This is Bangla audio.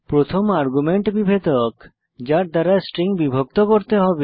প্রথম আর্গুমেন্ট বিভেদক যার দ্বারা স্ট্রিং বিভক্ত করতে হবে